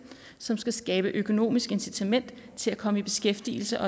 som skal skabe økonomisk incitament til at komme i beskæftigelse